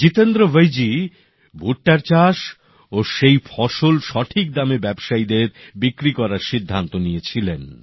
জিতেন্দ্র ভৈজী ভুট্টার চাষ ও সেই ফসল সঠিক দামে ব্যবসায়ীদের বিক্রি করার সিদ্ধান্ত নিয়েছিলেন